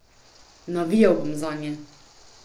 Navijal bom zanje.